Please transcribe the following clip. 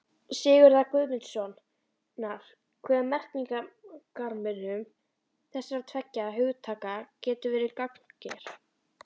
Sigurðar Guðmundssonar hve merkingarmunur þessara tveggja hugtaka getur verið gagnger.